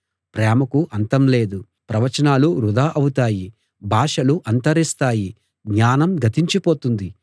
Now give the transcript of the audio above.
ప్రేమకు అంతం లేదు ప్రవచనాలు వృథా అవుతాయి భాషలు అంతరిస్తాయి జ్ఞానం గతించిపోతుంది